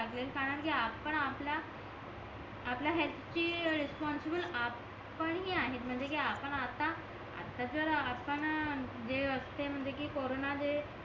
लागेल कारण कि आपण आपला आपल्या हेअल्थची रेस्पॉन्सिबल आपण हि आहेत म्हणजे कि आपण आता आता जर आपण जे असते म्हणजे कि कॉरोन जे